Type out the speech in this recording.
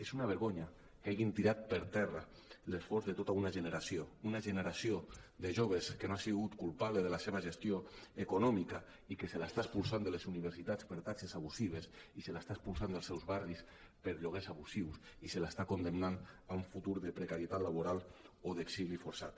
és una vergonya que hagin tirat per terra l’esforç de tota una generació una generació de joves que no ha sigut culpable de la seva gestió econòmica i que se l’està expulsant de les universitats per taxes abusives i se l’està expulsant dels seus barris per lloguers abusius i se l’està condemnant a un futur de precarietat la·boral o d’exili forçat